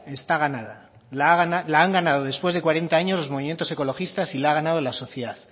está ganada la han ganado después de cuarenta años los movimientos ecologistas y la ha ganado la sociedad